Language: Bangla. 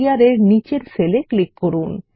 Publishyear এর নীচের সেলে ক্লিক করুন